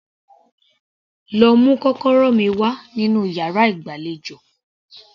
Lọ mú kọ́kọ́rọ́ mi wá nínú yàrá ìgbàlejò